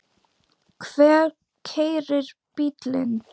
Hver keyrir bílinn?